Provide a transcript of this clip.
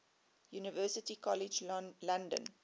university college london